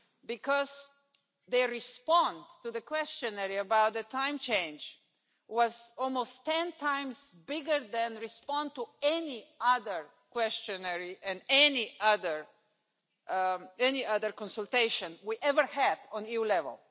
because the response to the questionnaire about the time change was almost ten times bigger than the response to any other questionnaire and any other any other consultation we ever had at EU level.